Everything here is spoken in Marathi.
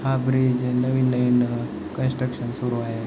हा ब्रिज नवीन आहेन कन्स्ट्रकशन सुरू आहे.